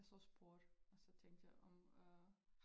Jeg så sport og så tænkte jeg om øh